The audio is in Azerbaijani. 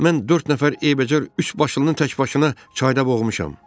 Mən dörd nəfər eybəcər üç başlıını təkbaşına çayda boğmuşam.